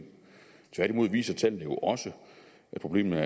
tværtimod viser tallene jo også at problemet